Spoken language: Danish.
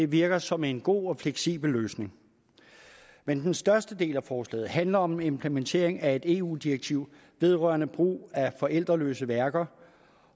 virker som en god og fleksibel løsning men den største del af forslaget handler om implementering af et eu direktiv vedrørende brug af forældreløse værker